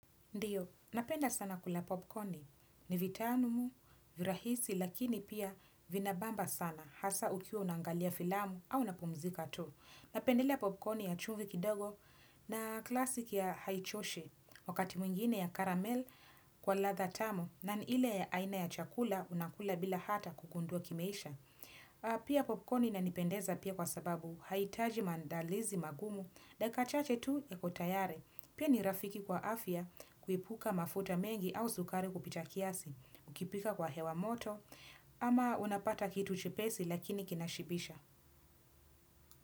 Ndiyo, napenda sana kula popcorni, ni vitamu, virahisi, lakini pia vinabamba sana, hasa ukiwa unangalia filamu au unapumzika tu. Napendelea popcorni ya chumvi kidogo na kilasiki ya haichoshi, wakati mwingine ya karamel kwa ladha tamu, na ni ile ya aina ya chakula unakula bila hata kugundua kimeisha. Pia popcorni inanipendeza pia kwa sababu haitaji mandalizi magumu dakika chache tu iko tayari. Pia ni rafiki kwa afya kuipuka mafuta mengi au sukari kupita kiasi, ukipika kwa hewa moto, ama unapata kitu chepesi lakini kinashibisha.